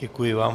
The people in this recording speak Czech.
Děkuji vám.